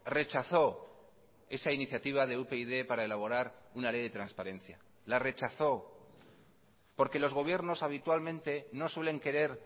rechazó esa iniciativa de upyd para elaborar una ley de transparencia la rechazó porque los gobiernos habitualmente no suelen querer